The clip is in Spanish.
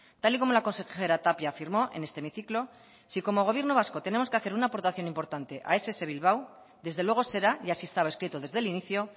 tal y como la consejera tapia afirmó en este hemiciclo si como gobierno vasco tenemos que hacer una aportación importante a ess bilbao desde luego será y así estaba escrito desde el inicio